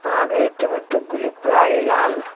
আর এই টমেটোগুলি প্রায়ই লাল।